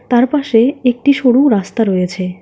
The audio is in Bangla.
তার পাশে একটি সরু রাস্তা রয়েছে।